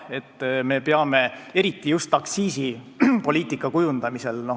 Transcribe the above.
Eriti peame seda arvestama aktsiisipoliitika kujundamisel.